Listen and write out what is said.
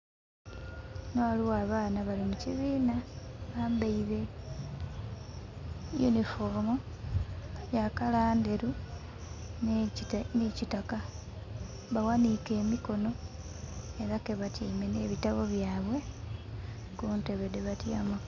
Ghano ghaligho abaana bali mu kibina bambeire yunifoomu ya kala ndheru ni kitaka baghanike emikono era ke batyeime ne bitabo byabwe ku ntebe dhe batyamaku.